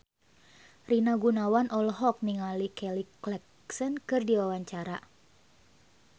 Rina Gunawan olohok ningali Kelly Clarkson keur diwawancara